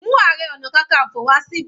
Mú Ààrẹ ọna kankanfo wá síbi.